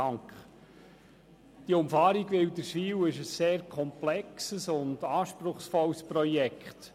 Die Umfahrung Wilderswil ist ein sehr komplexes und anspruchsvolles Projekt.